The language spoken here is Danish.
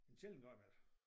En sjældent gang imellem